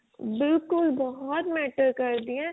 ਬਿਲਕੁਲ ਬਹੁਤ matter ਕਰ ਦੀ ਏ